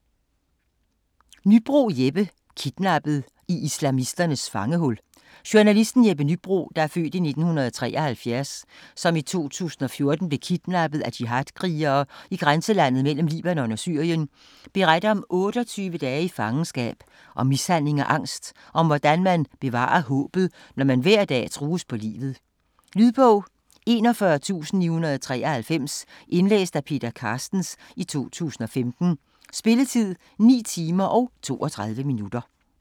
Nybroe, Jeppe: Kidnappet: i islamisternes fangehul Journalisten Jeppe Nybroe (f. 1973), som i 2014 blev kidnappet af jihadkrigere i grænselandet mellem Libanon og Syrien, beretter om 28 dage i fangenskab, om mishandling og angst, og om hvordan man bevarer håbet, når man hver dag trues på livet. Lydbog 41993 Indlæst af Peter Carstens, 2015. Spilletid: 9 timer, 32 minutter.